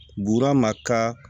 Buura ma ka